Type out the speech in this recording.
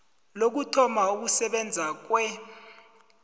lokuthoma ukusebenza kwe